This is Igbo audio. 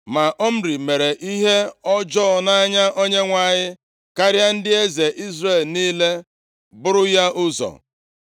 Ma Omri mere ihe ọjọọ nʼanya Onyenwe anyị karịa ndị eze Izrel niile buru ya ụzọ.